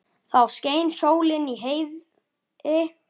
Þá skein sól í heiði.